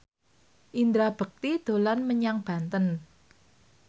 Indra Bekti dolan menyang Banten